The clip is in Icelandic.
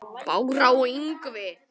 Bára og Ingvi.